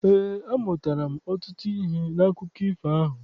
Eé, amụtara m ọtụtụ ihe n'akụkọ ifo ahụ.